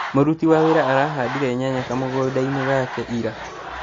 Mũruti wa wĩra arahandire nyanya kamũgũnda-inĩ gake ira